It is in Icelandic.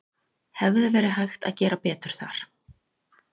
Hefði verið hægt að gera betur þar?